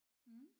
Mh